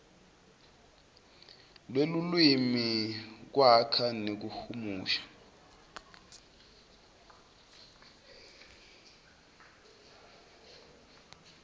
lwelulwimi kwakha nekuhumusha